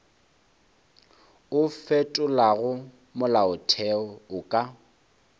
o fetolago molaotheo o ka